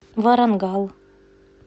варангал